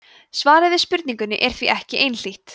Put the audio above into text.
svarið við spurningunni er því ekki einhlítt